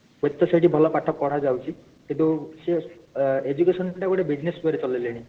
ହୁଏ ତ ସେଠି ଭଲ ପାଠ ପଢା ଯାଉଛି କିନ୍ତୁ ସିଏ education ଟା କୁ ଗୋଟେ business way ରେ ଚଲାଇଲେଣି